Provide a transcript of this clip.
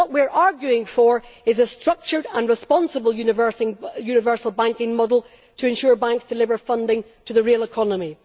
What we are arguing for is a structured and responsible universal banking model to ensure banks deliver funding to the real economy.